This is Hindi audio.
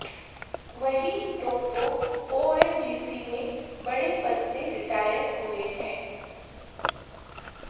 वहीं टोप्पो ओएनजीएसी में बड़े पद से रिटायर हुए हैं